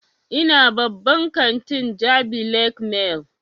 Ina babban kantin jabi lake mall